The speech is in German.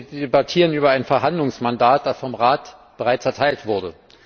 Wir debattieren über ein Verhandlungsmandat, das vom Rat bereits erteilt wurde.